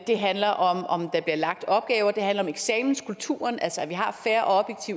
det handler om om der bliver lagt opgaver og det handler om eksamenskulturen altså at vi har fair og